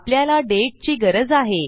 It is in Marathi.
आपल्याला दाते ची गरज आहे